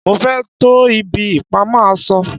mo fé to ibi ìpamọ́ aṣọ